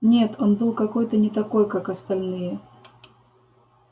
нет он был какой-то не такой как остальные